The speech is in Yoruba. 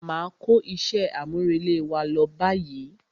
Máa kó iṣẹ́ àmúrelé wa lọ báyìí.